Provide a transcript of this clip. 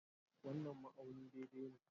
wannan ma'auni daidai ne.